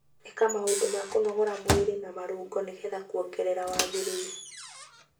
ĩka maũndũ ma kũnogora mwĩrĩ ma marũngo nĩ getha kwongerera wagĩrĩru.